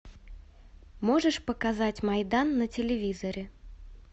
можешь показать майдан на телевизоре